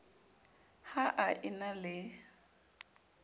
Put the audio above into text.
ha a e na le